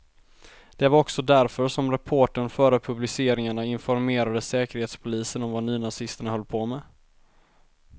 Det var också därför som reportern före publiceringarna informerade säkerhetspolisen om vad nynazisterna höll på med.